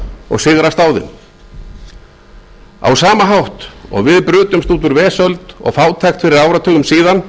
og sigrast á þeim á sama hátt og við brutumst út úr vesöld og fátækt fyrir áratugum síðan